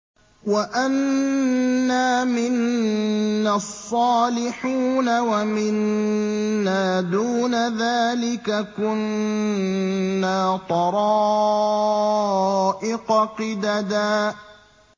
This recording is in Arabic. وَأَنَّا مِنَّا الصَّالِحُونَ وَمِنَّا دُونَ ذَٰلِكَ ۖ كُنَّا طَرَائِقَ قِدَدًا